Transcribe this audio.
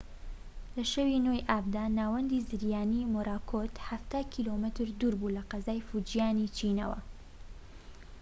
لە شەوی ٩ ی ئابدا، ناوەندی زریانی مۆراکۆت حەفتا کیلۆمەتر دووربوو لە قەزای فوجیانی چینەوە